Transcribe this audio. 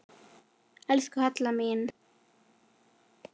Elsku Hadda mín.